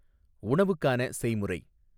உணவுக்கான செய்முறை